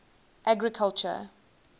agriculture